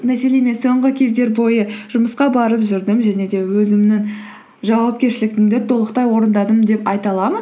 мәселен мен соңғы кездер бойы жұмысқа барып жүрдім және де өзімнің жауапкершілігімді толықтай орындадым деп айта аламын